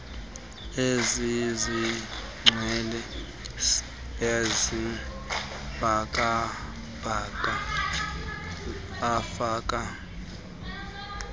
ezazigcwelise isibhakabhaka afaka